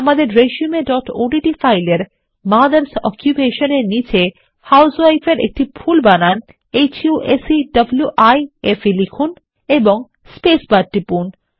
আমাদের resumeওডিটি ফাইলের মথার্স Occupationএর নিচে আপনি হাউসউইফ এরএকটি ভুল বানান হুসেভাইফ লিখুন এবং স্পেস বার টিপুন